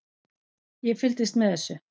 Ég fylgdist með þessu.